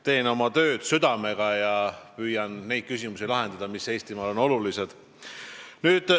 Teen oma tööd südamega ja püüan lahendada neid küsimusi, mis Eestimaal olulised on.